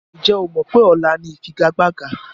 Ǹjẹ́ o mọ wípé ọ̀la ni ifigagbaga?